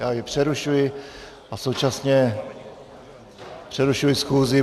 Já jej přerušuji a současně přerušuji schůzi.